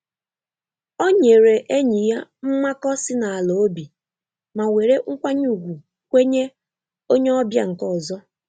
Ọ nyèrè enyi ya mmakọ si n'ala obi ma were nkwanye ùgwù kwenye onye ọbịa nke ọzọ.